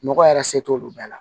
Nɔgɔ yɛrɛ se t'olu bɛɛ la